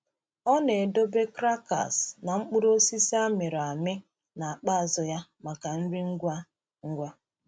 Ọ na-edobe crackers na mkpụrụ osisi a mịrị amị n’akpa azụ ya maka nri ngwa ngwa.